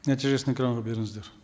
нәтижесін экранға беріңіздер